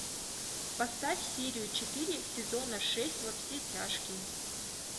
поставь серию четыре сезона шесть во все тяжкие